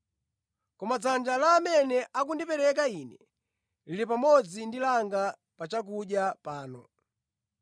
Koma dzanja la amene akundipereka Ine lili pamodzi ndi langa pa chakudya pano.